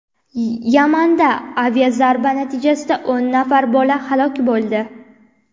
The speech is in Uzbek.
Yamanda aviazarba natijasida o‘n nafar bola halok bo‘ldi.